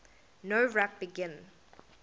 nowrap begin